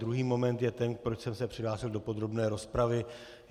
Druhý moment je ten, proč jsem se přihlásil do podrobné rozpravy.